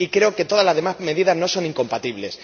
Y creo que todas las demás medidas no son incompatibles.